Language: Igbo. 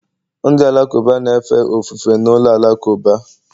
Ndị Alakụba na-efe ofufe na ụlọ alakụba